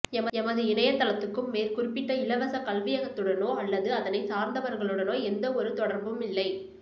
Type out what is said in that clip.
எமது இணையத்தளத்துக்கும் மேற்குறிப்பிட்ட இலவசக் கல்வியகத்துடனோ அல்லது அதனை சார்ந்தவர்களுனோ எந்தவொரு தெடர்பும் இல்லை